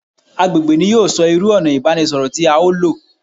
Agbègbè ni yóò sọ irú ònà ìbánisọ̀rọ̀ tí à o lò